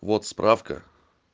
вот справка